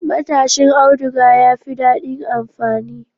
Matashin auduga yafi dadin amfani